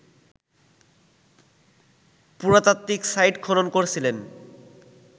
পুরাতাত্ত্বিক site খনন করছিলেন